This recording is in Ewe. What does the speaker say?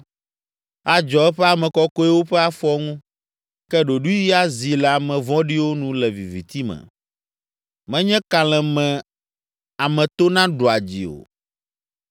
Adzɔ eƒe ame kɔkɔewo ƒe afɔ ŋu, ke ɖoɖoe azi le ame vɔ̃ɖiwo nu le viviti me. “Menye kalẽ me ame tona ɖua dzi o;